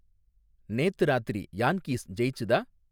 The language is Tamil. நேத்து ராத்திரி யான்கீஸ் ஜெயிச்சுதா?